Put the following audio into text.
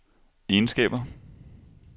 egenskaber